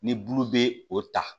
Ni bulu bɛ o ta